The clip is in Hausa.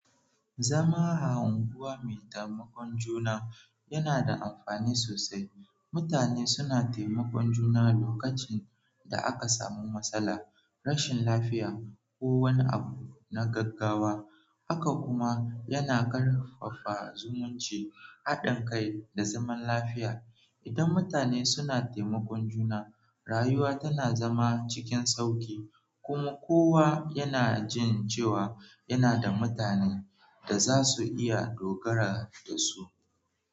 Zama a unguwa mai taimakon juna yana da amfani sosai. Mutane suna taimakon juna lokacin da aka samu matsala, rashin lafiya ko wani abu na gaggawa. Haka kuma, yana karfafa zumunci, haɗin kai da zaman lafiya. Idan mutane suna taimakon juna, rayuwa tana zama cikin sauƙi, kuma kowa yana jin cewa yana da mutanen da za su iya dogara da su.